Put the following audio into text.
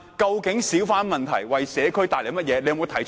究竟小販為社區帶來了甚麼問題？